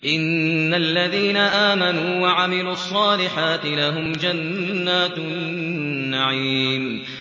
إِنَّ الَّذِينَ آمَنُوا وَعَمِلُوا الصَّالِحَاتِ لَهُمْ جَنَّاتُ النَّعِيمِ